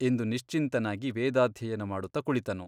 ಎಂದು ನಿಶ್ಚಿಂತನಾಗಿ ವೇದಾಧ್ಯಯನ ಮಾಡುತ್ತ ಕುಳಿತನು.